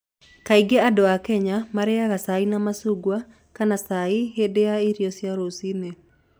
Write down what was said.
Kaingĩ andũ a Kenya marĩĩaga cai na macungwa kana chai hĩndĩ ya irio cia rũcinĩ.